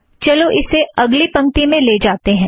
चलो ईसे अगली पंक्ति में ले जाते हैं